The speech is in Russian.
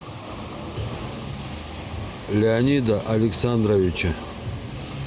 леонида александровича